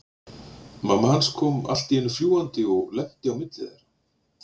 Mamma hans kom allt í einu fljúgandi og lenti á milli þeirra.